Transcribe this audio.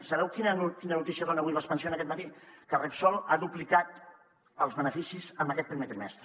sabeu quina notícia dona avui l’expansión aquest matí que repsol ha duplicat els beneficis en aquest primer trimestre